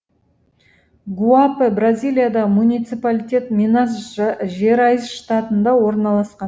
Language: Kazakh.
гуапе бразилиядағы муниципалитет минас жерайс штатында орналасқан